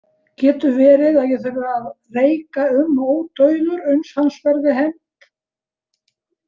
Getur verið að ég þurfi að reika um ódauður uns hans verði hefnt?